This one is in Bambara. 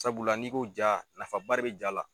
Sabula n'iko ja nafaba de be ja la